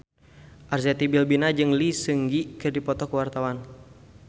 Arzetti Bilbina jeung Lee Seung Gi keur dipoto ku wartawan